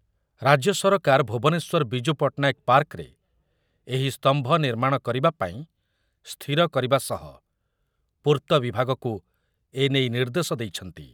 ରାଜ୍ୟ ସରକାର ଭୁବନେଶ୍ୱର ବିଜୁ ପଟ୍ଟନାୟକ ପାର୍କରେ ଏହି ସ୍ତମ୍ଭ ନିର୍ମାଣ କରିବା ପାଇଁ ସ୍ଥିର କରିବା ସହ ପୂର୍ତ୍ତ ବିଭାଗକୁ ଏ ନେଇ ନିର୍ଦ୍ଦେଶ ଦେଇଛନ୍ତି ।